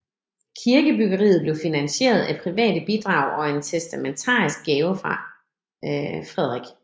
Kirkebyggeriet blev finanseret af private bidrag og en testamentarisk gave fra Frk